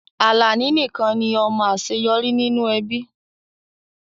Alani nikan ni ọmọ aṣeyọri ninu ẹbi